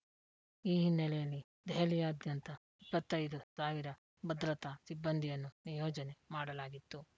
ಈ ಹಿನ್ನೆಲೆಯಲ್ಲಿ ದೆಹಲಿಯಾದ್ಯಂತ ಇಪ್ಪತ್ತ್ ಐದು ಸಾವಿರ ಭದ್ರತಾ ಸಿಬ್ಬಂದಿಯನ್ನು ನಿಯೋಜನೆ ಮಾಡಲಾಗಿತ್ತು